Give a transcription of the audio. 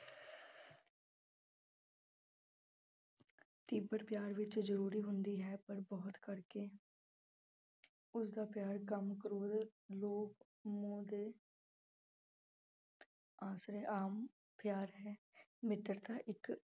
ਤੀਬਰ ਪਿਆਰ ਵਿੱਚ ਜ਼ਰੂਰੀ ਹੁੰਦੀ ਹੈ ਪਰ ਬਹੁਤ ਕਰਕੇ ਉਸਦਾ ਪਿਆਰ ਕਾਮ, ਕ੍ਰੋਧ, ਲੋਭ, ਮੋਹ ਦੇ ਆਸਰੇ ਆਮ ਪਿਆਰ ਹੈ, ਮਿੱਤਰਤਾ ਇੱਕ